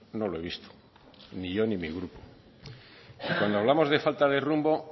no lo he visto ni yo ni mi grupo cuando hablamos de falta de rumbo